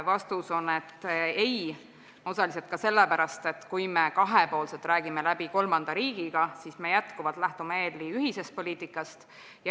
Vastus on ei, osaliselt ka sellepärast, et kui me kahepoolselt räägime läbi kolmanda riigiga, siis me jätkuvalt lähtume Euroopa Liidu ühisest poliitikast.